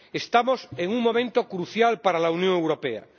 Estamos en un momento crucial para la Unión Europea.